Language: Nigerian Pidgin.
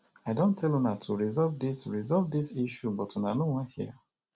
i don tell una to resolve dis resolve dis issue but una no wan hear